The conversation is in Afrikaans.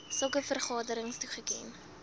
sulke vergaderings toegeken